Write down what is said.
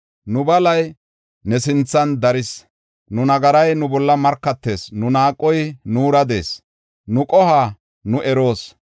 Nu balay ne sinthan daris; nu nagaray nu bolla markatees. Nu naaqoy nuura de7ees; nu qohuwa nu eroos.